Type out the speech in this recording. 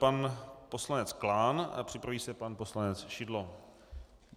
Pan poslanec Klán a připraví se pan poslanec Šidlo.